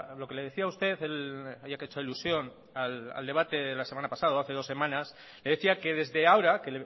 lo que le decía usted ya que ha hecho alusión al debate de la semana pasada o hace dos semanas le decía que desde ahora